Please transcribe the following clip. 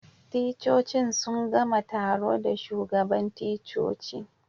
Ticcocin sun gama taro da shugaban ticcoci.